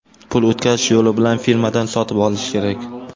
Pul o‘tkazish yo‘li bilan firmadan sotib olish kerak.